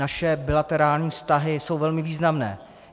Naše bilaterární vztahy jsou velmi významné.